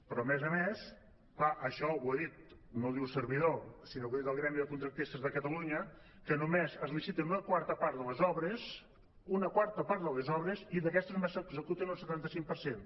però a més a més clar això ho ha dit no ho diu servidor sinó que ho ha dit el gremi de contractistes de catalunya que només es licita una quarta part de les obres i d’aquestes només se n’executa un setanta cinc per cent